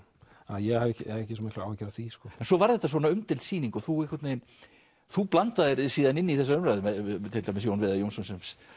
ég hef ekki svo miklar áhyggjur af því en svo varð þetta svona umdeild sýning og þú og þú blandaðir þér síðan inn í þessa umræðu við til dæmis Jón Viðar Jónsson